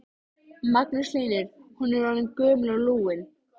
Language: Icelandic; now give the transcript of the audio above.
Magnús Hlynur: Hún er orðin gömul og lúin?